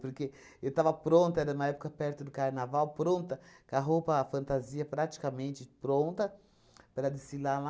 Porque eu estava pronta, era uma época perto do carnaval, pronta, com a roupa, a fantasia praticamente pronta para desfilar lá.